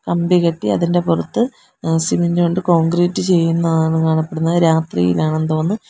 കമ്പി കെട്ടി അതിൻ്റെ പുറത്ത് ഏഹ് സിമൻ്റ് കൊണ്ട് കോൺക്രീറ്റ് ചെയ്യുന്നതാണ് കാണപ്പെടുന്നത് രാത്രിയിലാണെന്ന് തോന്നുന്നു.